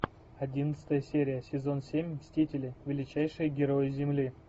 одиннадцатая серия сезон семь мстители величайшие герои земли